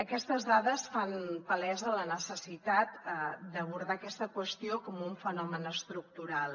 aquestes dades fan palesa la necessitat d’abordar aquesta qüestió com un fenomen estructural